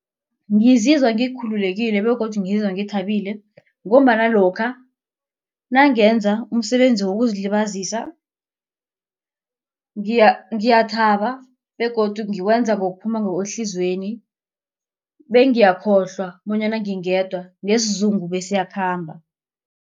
Ngizizwa ngikhululekile begodu ngizwa ngithabile ngombana lokha nangenza umsebenzi wokuzilibazisa ngiyathaba begodu ngiwenza ngokuphuma ngokwehliziyweni. Bengiyakhokhohlwa bonyana ngingedwa nesizungu besiyakhamba.